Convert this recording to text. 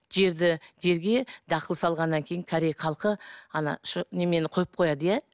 жерді жерге дақыл салғаннан кейін корея халқы ана немен қойып қояды иә